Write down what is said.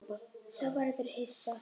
Sá verður hissa.